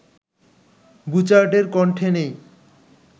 বুচার্ডের কণ্ঠে নেই